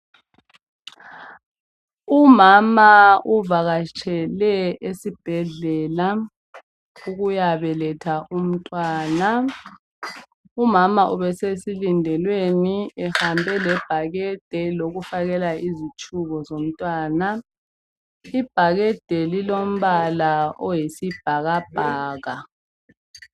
Umama uvakatshele esibhedlela ukuyabeletha umtwana umama ubesesilindelweni ehambe lebhakede lokufakela impahla zomtwana ibhakede lilombala oyisibhakabhaka